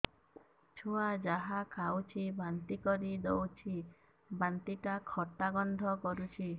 ଛୁଆ ଯାହା ଖାଉଛି ବାନ୍ତି କରିଦଉଛି ବାନ୍ତି ଟା ଖଟା ଗନ୍ଧ କରୁଛି